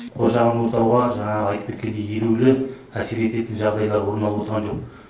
қоршаған ортаға жаңағы айтып кеткендей елеулі әсер ететін жағдайлар орын алып отырған жоқ